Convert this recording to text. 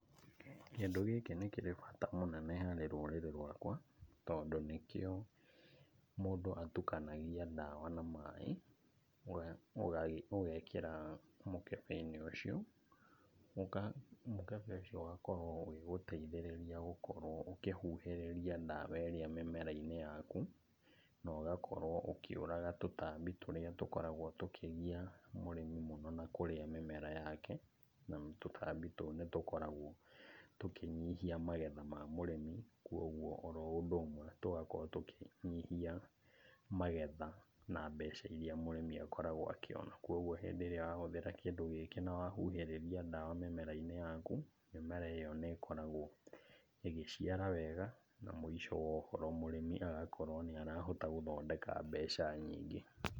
Kĩndũ gĩkĩ nĩkĩrĩ bata mũnene harĩ rũrĩrĩ rwakwa, tondũ nĩkĩo mũndũ atukanagia ndawa na maĩ, ugagĩ, ũgekĩra mũkebe-inĩ ũcio. Mũkebe ũcio ũgakorwo ũgĩgũteithĩrĩria gũkorwo ũkĩhuhĩrĩria dawa ĩrĩa mĩmera-inĩ yaku. Na ũgakorwo ũkĩũraga tũtambi tũrĩa tũkoragwo tũkĩgia mũrĩmi mũno na kũrĩa mĩmera yake. Na tũtambi tũu nĩtũkoragwo tũkĩnyihia magetha ma mũrĩmi, kwoguo oro ũndũ ũmwe tũgakorwo tũkĩnyihia magetha na mbeca iria mũrĩmi akoragwo akĩona. Koguo hĩndĩ ĩrĩa wahũthĩra kĩndũ gĩkĩ nawahuhĩrĩria ndawa mĩmera-inĩ yaku, mĩmera ĩyo nĩ ĩkoragwo ĩgĩciara wega na mũico wa ũhoro mũrĩmi agakorwo nĩarahota gũthondeka mbeca nyingĩ.